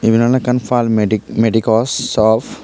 iyen awle ekkan palmedic medicos awf.